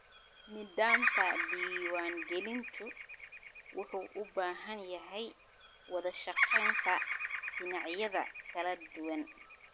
Nidaamka diiwaan-gelintu wuxuu u baahan yahay wada-shaqeynta dhinacyada kala duwan.